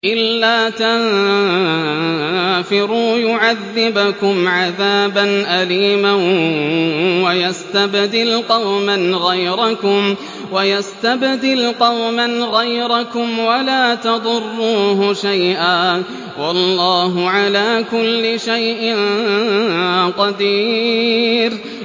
إِلَّا تَنفِرُوا يُعَذِّبْكُمْ عَذَابًا أَلِيمًا وَيَسْتَبْدِلْ قَوْمًا غَيْرَكُمْ وَلَا تَضُرُّوهُ شَيْئًا ۗ وَاللَّهُ عَلَىٰ كُلِّ شَيْءٍ قَدِيرٌ